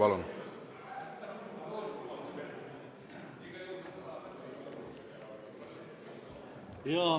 Palun!